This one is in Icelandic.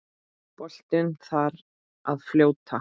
Boltinn þar að fljóta.